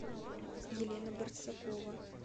елена барсакова